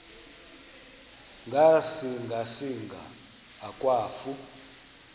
ngasinga singa akwafu